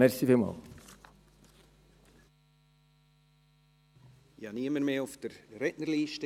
Es steht niemand mehr auf der Rednerliste.